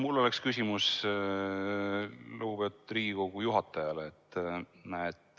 Mul oleks küsimus lugupeetud Riigikogu juhatajale.